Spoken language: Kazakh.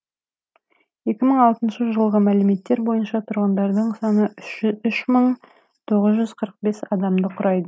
екі мың алтыншы жылғы мәліметтер бойынша тұрғындарының саны үш мың тоғыз жүз қырық бес адамды құрайды